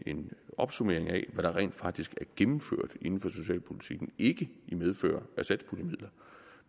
en opsummering af hvad der rent faktisk er gennemført inden for socialpolitikken ikke i medfør af satspuljemidler